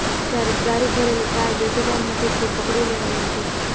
જ્યારે એક દારૂ ભરેલી કાર બેટી ગામ નજીકથી પકડી લેવાઇ હતી